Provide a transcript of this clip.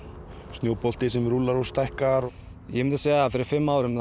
snjóbolti sem rúllar og stækkar ég myndi segja að fyrir fimm árum